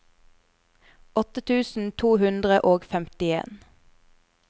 åtte tusen to hundre og femtien